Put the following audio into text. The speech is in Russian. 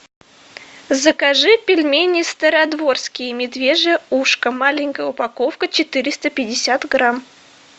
закажи пельмени стародворские медвежье ушко маленькая упаковка четыреста пятьдесят грамм